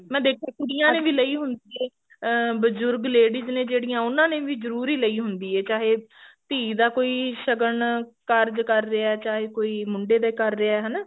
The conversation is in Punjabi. ਮੈਂ ਦੇਖਿਆ ਕੁੜੀਆਂ ਨੇ ਵੀ ਲਈ ਹੁੰਦੀ ਹੈ ਅਹ ਬਜੁਰਗ ladies ਨੇ ਜਿਹੜੀਆ ਉਹਨਾਂ ਨੇ ਵੀ ਜਰੂਰੀ ਲਈ ਹੁੰਦੀ ਹੈ ਚਾਹੇ ਧੀ ਦਾ ਕੋਈ ਸ਼ਗਨ ਕਾਰਜ ਕਰ ਰਿਹਾ ਚਾਹੇ ਕੋਈ ਮੁੰਡੇ ਦੇ ਕਰ ਰਿਹਾ ਹਨਾ